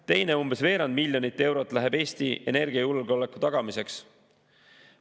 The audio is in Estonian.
Teine umbes veerand miljonit eurot läheb Eesti energiajulgeoleku tagamiseks.